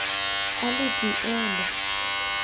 a le d e le